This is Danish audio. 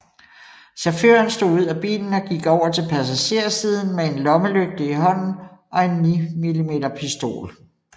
Chaufføren stod ud af bilen og gik over til passagersiden med en lommelygte i hånden og en 9 mm pistol